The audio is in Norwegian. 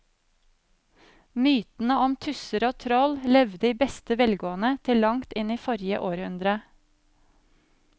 Mytene om tusser og troll levde i beste velgående til langt inn i forrige århundre.